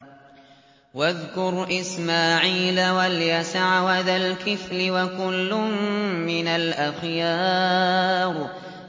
وَاذْكُرْ إِسْمَاعِيلَ وَالْيَسَعَ وَذَا الْكِفْلِ ۖ وَكُلٌّ مِّنَ الْأَخْيَارِ